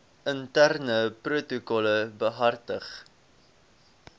interne protokolle behartig